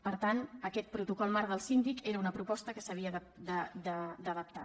per tant aquest protocol marc del síndic era una proposta que s’havia d’adaptar